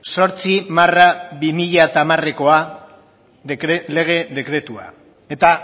zortzi barra bi mila hamarekoa lege dekretua eta